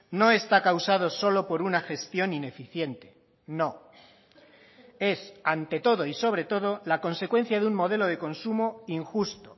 no está causado solo por una gestión ineficiente no es ante todo y sobre todo la consecuencia de un modelo de consumo injusto